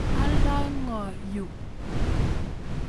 Aldai ngo yuu?